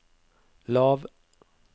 lav